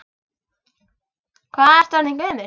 Hvað ertu orðin gömul?